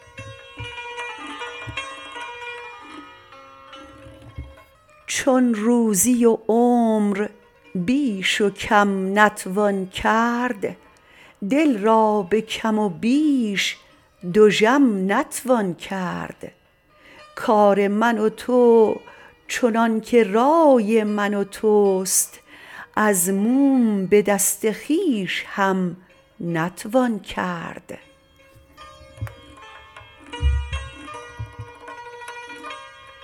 چون روزی و عمر بیش و کم نتوان کرد دل را به کم و بیش دژم نتوان کرد کار من و تو چنان که رای من و توست از موم به دست خویش هم نتوان کرد